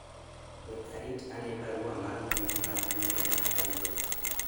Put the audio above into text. we arit ane barua mar mbui mar email ma ayudo